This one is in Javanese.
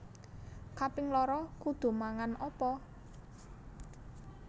Kaping loro kudu mangan opo?